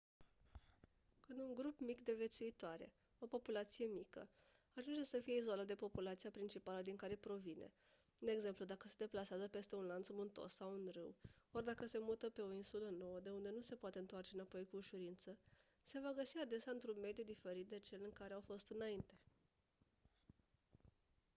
când un grup mic de viețuitoare o populație mică ajunge să fie izolat de populația principală din care provine de exemplu dacă se deplasează peste un lanț muntos sau un râu ori dacă se mută pe o insulă nouă de unde nu se poate întoarce înapoi cu ușurință se va găsi adesea într-un mediu diferit de cel în care au fost înainte